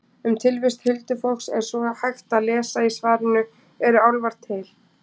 Um tilvist huldufólks er svo hægt að lesa í svarinu Eru álfar til?